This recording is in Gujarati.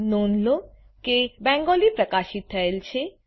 નોંધ લો કે બેંગાલી પ્રકાશિત થયેલ છે